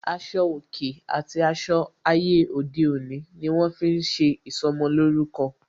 Aṣọ òkè àti aṣọ ayé òde òní ni wọn fi ń ṣe ìsọmolórúkọ